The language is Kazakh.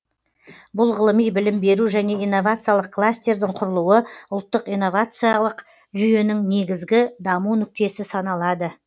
бұл ғылыми білім беру және инновациялық кластердің құрылуы ұлттық инновациялық жүйенің негізгі даму нүктесі саналады